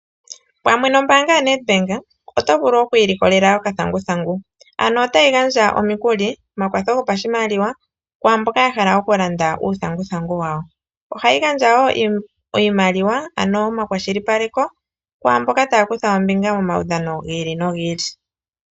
Pamwe nombaanga yoNedbank oto vulu oku ilikolea okathanguthangu. Ano otayi gandja omikuli, omakwatho gopa shimaliwa kwaamboka ya hala oku landa uuthanguthangu wawo. Ohayi gandja woo iimaliwa ano omakwashilipaleko ku mboka taya kutha ombinga momaudhano gi ili nogi ili.